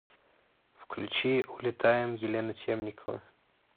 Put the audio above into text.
включи улетаем елена темникова